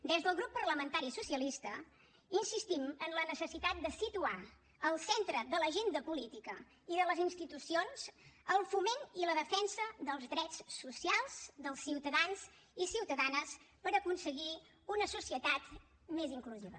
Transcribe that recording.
des del grup parlamentari socialista insistim en la necessitat de situar al centre de l’agenda política i de les institucions el foment i la defensa dels drets socials dels ciutadans i ciutadanes per aconseguir una societat més inclusiva